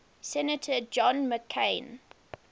senator john mccain